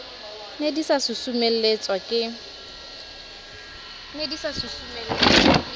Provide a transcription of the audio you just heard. ne di sa susumeletswa ke